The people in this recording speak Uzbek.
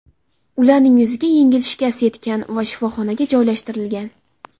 Ularning yuziga yengil shikast yetgan va shifoxonaga joylashtirilgan.